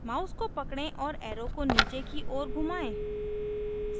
mouse को पकड़ें और arrow को नीचे की ओर घुमाएं